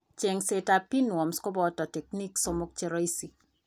Cheng'seet ab pinworms kobooto techniques somok cheroisi